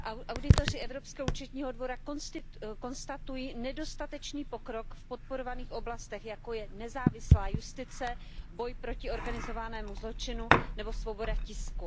Auditoři Evropského účetního dvora konstatují nedostatečný pokrok v podporovaných oblastech, jako je nezávislá justice, boj proti organizovanému zločinu nebo svoboda tisku.